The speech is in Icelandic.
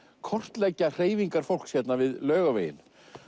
kortleggja hreyfingar fólks við Laugaveginn